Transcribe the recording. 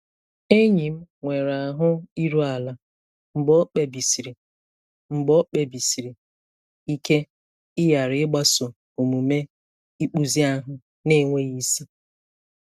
Enyi m nwere ahụ iru ala mgbe o kpebisiri mgbe o kpebisiri ike ịghara ịgbaso omume ịkpụzi ahụ na-enweghị isi.